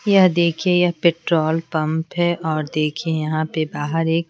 यह देखिए यह पेट्रोल पंप है और देखिए यहाँ पे बाहर एक---